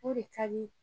O de ka di